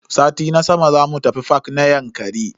Sati na sama zamu tafi fak na Yankari.